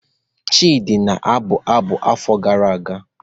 Chidi na-abụ abụ afọ gara aga.